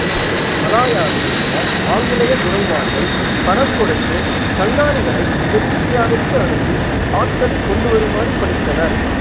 மலாயாவில் இருந்த ஆங்கிலேயத் துரைமார்கள் பணம் கொடுத்து கங்காணிகளைத் தென்னிந்தியாவிற்கு அனுப்பி ஆட்களைக் கொண்டு வருமாறு பணித்தனர்